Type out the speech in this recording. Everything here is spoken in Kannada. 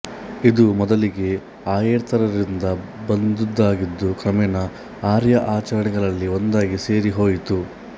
ಇದು ಮೊದಲಿಗೆ ಆರ್ಯೇತರರಿಂದ ಬಂದುದಾಗಿದ್ದು ಕ್ರಮೇಣ ಆರ್ಯ ಆಚರಣೆಗಳಲ್ಲಿ ಒಂದಾಗಿ ಸೇರಿ ಹೋಯಿತು